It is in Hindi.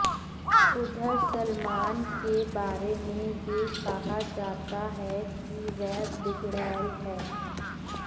उधर सलमान के बारे में यह कहा जाता है कि वह बिगडै़ल है